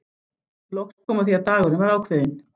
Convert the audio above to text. Loks kom að því að dagurinn var ákveðinn.